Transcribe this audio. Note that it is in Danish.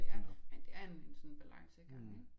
Det er men det er en en sådan balancegang ikke